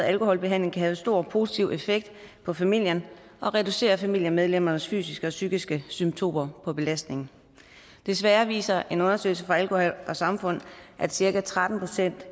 alkoholbehandling kan have stor positiv effekt på familien og reducere familiemedlemmernes fysiske og psykiske symptomer på belastning desværre viser en undersøgelse fra alkohol samfund at cirka tretten procent